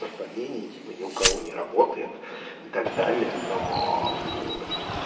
совпадение типа ни у кого не работает и так далее но